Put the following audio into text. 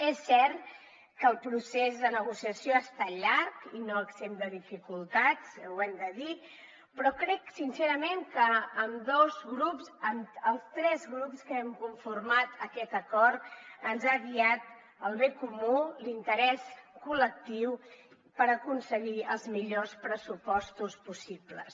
és cert que el procés de negociació ha estat llarg i no exempt de dificultats ho hem de dir però crec sincerament que als tres grups que hem conformat aquest acord ens ha guiat el bé comú l’interès col·lectiu per aconseguir els millors pressupostos possibles